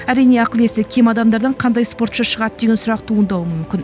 әрине ақыл есі кем адамдардан қандай спортшы шығады деген сұрақ туындауы мүмкін